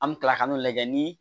An bɛ kila ka n'o lajɛ ni